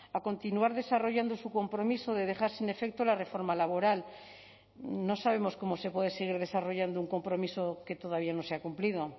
a continuar desarrollando su compromiso de dejar sin efecto la reforma laboral no sabemos cómo se puede seguir desarrollando un compromiso que todavía no se ha cumplido